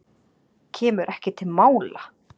Kemur ekki til mála.